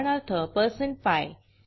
उदाहरणार्थ percent PI